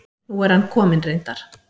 Nú er hann kominn reyndar.